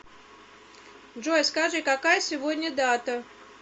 джой скажи какая сегодня дата